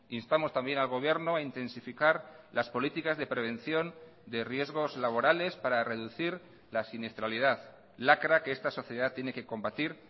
instamos también al gobierno a intensificar las políticas de prevención de riesgos laborales para reducir la siniestralidad lacra que esta sociedad tiene que combatir